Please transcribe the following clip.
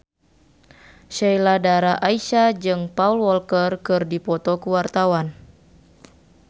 Sheila Dara Aisha jeung Paul Walker keur dipoto ku wartawan